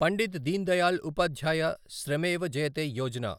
Pandit Deendayal Upadhyaya Shramev Jayate Yojana